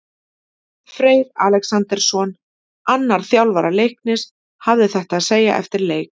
Freyr Alexandersson, annar þjálfara Leiknis, hafði þetta að segja eftir leik: